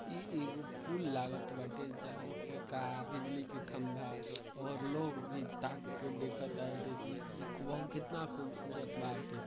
ई एगो पुल लागत बाटे। जहाँ पर कार बिजली के खम्बा और लोग भी ताक के देखत ताटे कितना खूबसूरत बाटे।